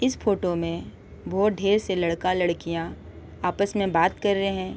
इस फोटो में बहुत ढेर से लड़का लड़किया आपस में बात कर रहे है।